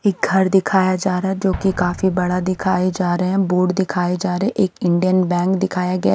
एक घर दिखाया जा रहा है जो कि काफी बड़ा दिखाए जा रहे हैं बोर्ड दिखाए जा रहे हैं एक इंडियन बैंक दिखाया गया--